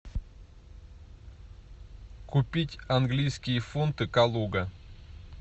купить английские фунты калуга